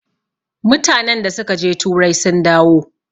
mutanen da suka je turai sun dawo